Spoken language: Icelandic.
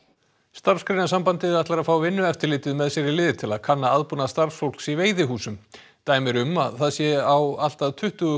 Starfsgreinasambandið ætlar að fá Vinnueftirlitið með sér í lið til að kanna aðbúnað starfsfólks í veiðihúsum dæmi eru um að það sé á allt að tuttugu